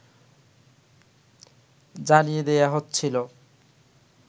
জানিয়ে দেয়া হচ্ছিল